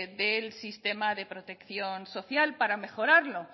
del sistema de protección social para mejorarlo